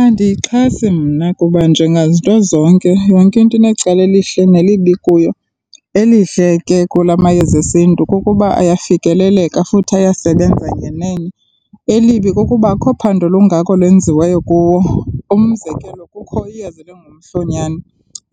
Andiyixhasi mna kuba njengazinto zonke, yonke into inecala elihle nelibi kuyo. Elihle ke kula mayeza esiNtu kukuba ayafikeleleka futhi ayasebenza ngenene. Elibi kukuba akho phando lungako lwenziweyo kuwo. Umzekelo kukho iyeza elingumhlonyana